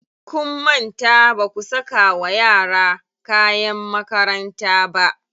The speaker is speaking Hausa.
Kun manta baku saka wa yara kayan makaranta ba.